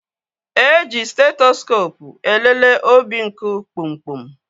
E ji stetoskoopụ elele obinku kpumkpum